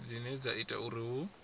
dzine dza ita uri hu